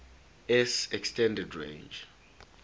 s extended range